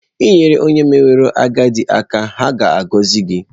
nyere onye meworo agadi aka, ha ga-agọzi gị.